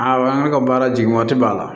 A an ka baara jigin waati b'a la